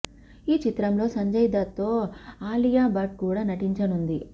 ఈ చిత్రంలో సంజయ్ దత్ తో ఆలియా బట్ కూడా నటించనుంది